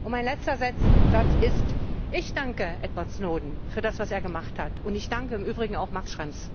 Mein letzter Satz ist Ich danke Edward Snowden für das, was er gemacht hat, und ich danke im Übrigen auch Max Schrems.